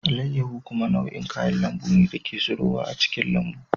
Alayyahu kuma nau'in kayan lambu ne da ke tsirowa a cikin lambun.